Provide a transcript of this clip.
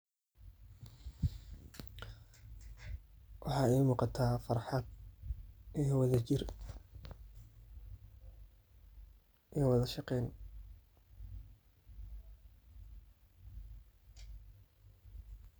Waxaa ii muqata farxad iyo wadha jir iyo wadha shaqeyn.